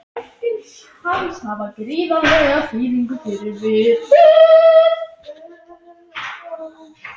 Mörkin hans hafa gríðarlega þýðingu fyrir liðið.